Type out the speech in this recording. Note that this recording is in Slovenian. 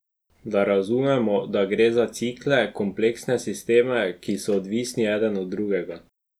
Da razumemo, da gre za cikle, kompleksne sisteme, ki so odvisni eden od drugega.